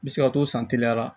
N bɛ se ka to san teliyara